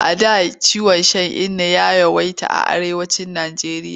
A da ciwon shan inna ya yawaita a Arewacin Nijeriya.